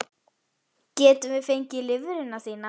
Getum við fengið lifrina þína?